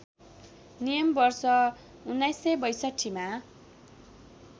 नियम वर्ष १९६२मा